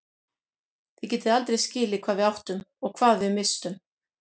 Þið getið aldrei skilið hvað við áttum og hvað við misstum.